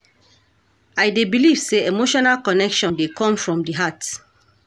I dey believe say emotional connection dey come from di heart